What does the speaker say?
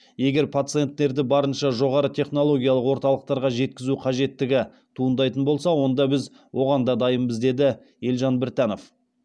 егер пациенттерді барынша жоғары технологиялық орталықтарға жеткізу қажеттігі туындайтын болса онда біз оған да дайынбыз деді елжан біртанов